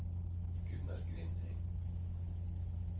Gunnar Grindheim